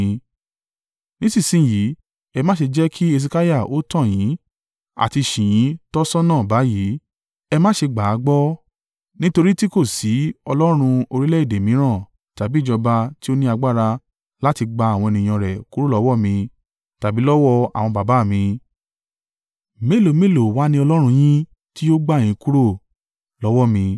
Nísinsin yìí, ẹ má ṣe jẹ́ kí Hesekiah ó tàn yín àti ṣì yín tọ́ ṣọ́nà báyìí. Ẹ má ṣe gbà á gbọ́, nítorí tí kò sí ọlọ́run orílẹ̀-èdè mìíràn tàbí ìjọba tí ó ní agbára láti gba àwọn ènìyàn rẹ̀ kúrò lọ́wọ́ mi tàbí lọ́wọ́ àwọn baba mi, mélòó mélòó wa ni Ọlọ́run yín tí yóò gbà yín kúrò lọ́wọ́ mi!”